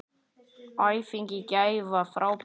Æfingin í gær var frábær.